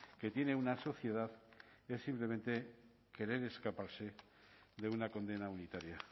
que tiene una sociedad es simplemente querer escaparse de una condena unitaria